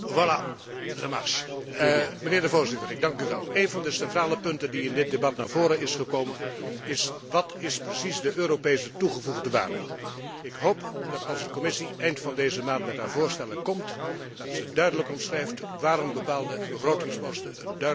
Voorzitter, een van de centrale punten die in dit debat naar voren zijn gekomen is Wat is precies de Europese toegevoegde waarde? Ik hoop dat de Commissie, als ze eind van deze maand met haar voorstellen komt, duidelijk omschrijft waarom bepaalde begrotingsposten een duidelijke toegevoegde waarde hebben.